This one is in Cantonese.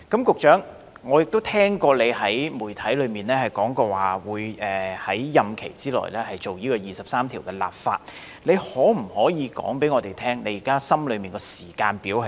局長，我曾聽聞你對媒體表示會在任期之內，就《基本法》第二十三條進行立法工作，那麼你可否告訴我們現時心裏的時間表為何？